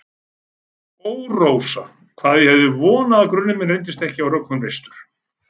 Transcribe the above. Ó, Rósa, hvað ég hef vonað að grunur minn reyndist ekki á rökum reistur.